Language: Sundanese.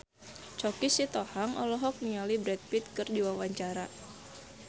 Choky Sitohang olohok ningali Brad Pitt keur diwawancara